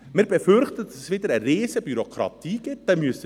Wir befürchten, dass es wieder zu einer riesigen Bürokratie führt.